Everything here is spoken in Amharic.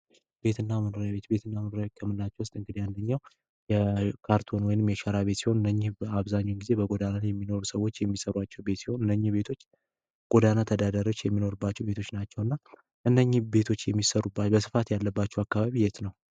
መኖሪያ ቤትና መኖሪያ ቤት ከምንላቸው ውስጥ አንደኛው የካርቶን ወይንም ደግሞ የሸራ ቤት ሲህን በአብዛኛ ግዜ ጎዳና ተዳዳሪዎች የሚኖሩባቸው ቤቶች ናቸው። ቤቶች የሚሰሩ በስፋት ያለባቸው አካባቢ የት ነው።